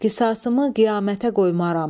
Qisasımı qiyamətə qoymaram.